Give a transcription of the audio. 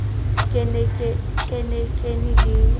ke ne ke le e